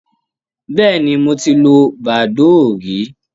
Bẹ́ẹ̀ni, mo ti lo badoo rí.